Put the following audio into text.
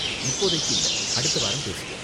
இப்போதைக்கு இல்ல, அடுத்த வாரம் பேசுவோம்.